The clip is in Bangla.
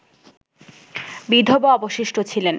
বিধবা অবশিষ্ট ছিলেন